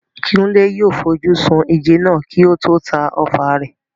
Kunle yóò fi ojú sun ìjẹ náà kí ó tó ta ọfà rẹ̀.